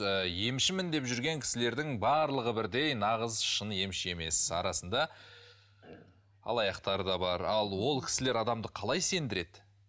ыыы емшімін жүрген кісілердің барлығы бірдей нағыз шын емші емес арасында алаяқтар да бар ал ол кісілер адамды қалай сендіреді